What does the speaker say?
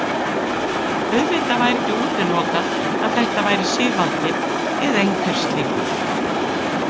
Auðvitað væri ekki útilokað að þetta væri Sigvaldi eða einhver slíkur.